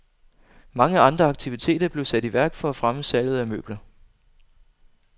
Mange andre aktiviteter blev sat i værk for at fremme salget af møbler.